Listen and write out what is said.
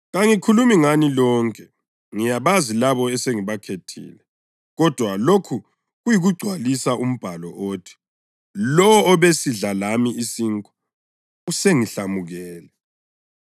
“Kangikhulumi ngani lonke; ngiyabazi labo esengibakhethile. Kodwa lokhu kuyikugcwalisa umbhalo othi: ‘Lowo obesidla lami isinkwa usengihlamukele.’ + 13.18 AmaHubo 41.9